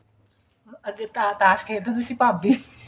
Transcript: ਅਜੇ ਤਾਂ ਤਾਸ਼ ਖੇਡ ਦੇ ਹੁੰਦੇ ਸੀ ਭਾਭੀ